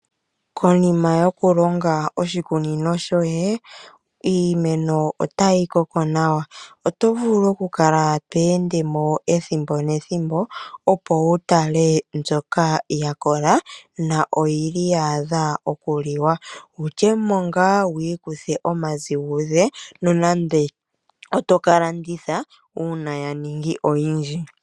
Konina yokulonga oshikunino shoye, iimeno otayi koko nawa. Oto vulu okukala to ende mo ethimbo nethimbo opo wu tale mbyoka ya kola, na oyi li ya adha okuliwa. Wu lye mo ngaa oku ikutha omaziguze nonande oto ka landitha uuna ya ningi oyindji.